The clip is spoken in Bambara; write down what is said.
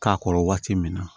K'a kɔrɔ waati min na